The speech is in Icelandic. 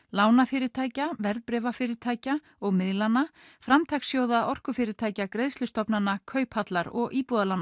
lánafyrirtækja verðbréfafyrirtækja og miðlana orkufyrirtækja Kauphallar og